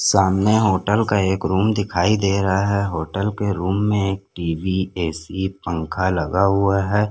सामने होटल का एक रूम दिखाई दे रहा हैं होटल के रूम में एक टीवी एसी पंखा लगा हुआ हैं।